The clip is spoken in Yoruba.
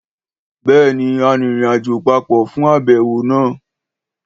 Béèni, a rìnrìnàjò papọ̀ fún àbẹ̀wò náà